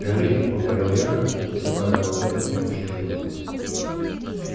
гори повторил я посыпая в ладонь немножко силы